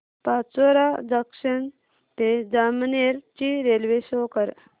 Pachora junction ते जामनेर ची railway show कर